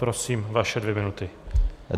Prosím, vaše dvě minuty.